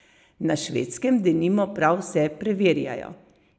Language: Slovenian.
Na Švedskem denimo prav vse preverjajo.